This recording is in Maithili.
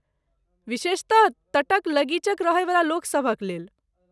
विशेषतः तटक लगीचक रहैवला लोकसभक लेल।